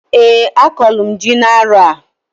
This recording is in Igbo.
Eeǃ A kọlụ m ji n'arọ a.